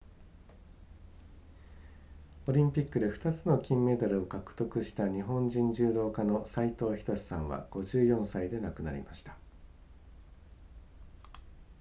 オリンピックで2つの金メダルを獲得した日本人柔道家の斉藤仁さんは54歳で亡くなりました